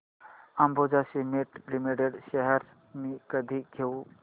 Ambuja cement limited shares मी कधी घेऊ